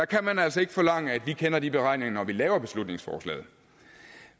kan altså ikke forlange at vi kender de beregninger når vi laver beslutningsforslaget